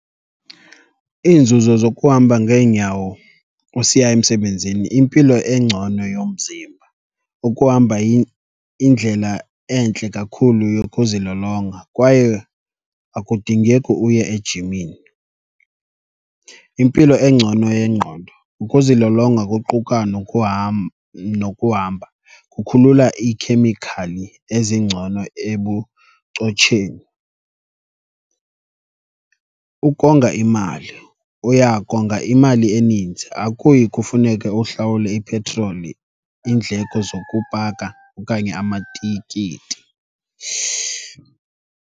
Iinzuzo zokuhamba ngeenyawo usiya emsebenzini, impilo engcono yomzimba, ukuhamba indlela entle kakhulu yokuzilolonga kwaye akudingeki uye ejimini. Impilo engcono yengqondo, ukuzilolonga kuquka nokuhamba kukhulula iikhemikhali ezingcono ebuchotsheni. Ukonga imali, uya konga imali eninzi, akuyi kufuneke uhlawule ipetroli, iindleko zokupaka okanye amatikiti.